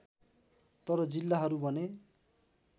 तर जिल्लाहरू भने